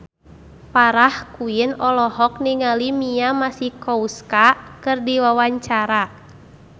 Farah Quinn olohok ningali Mia Masikowska keur diwawancara